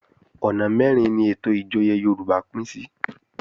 Ọ̀nà mẹ́rin ni ètò ìjòyè Yorùbá pín sí